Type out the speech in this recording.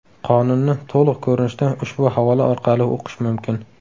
Qonunni to‘liq ko‘rinishda ushbu havola orqali o‘qish mumkin.